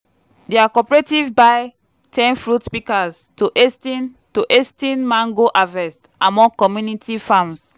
dia cooperative buy ten fruit pikas to has ten to has ten mango harvest among community farms.